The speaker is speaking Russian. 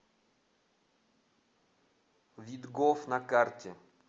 видгоф на карте